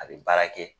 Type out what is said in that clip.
A bɛ baara kɛ